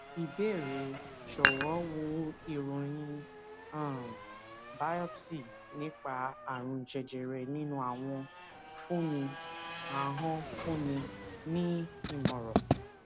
ìbéèrè jọwọ wo ìròyìn um biopsy nípa àrùn jẹjẹrẹ ninu ahon fúnni ahon fúnni ní ìmọràn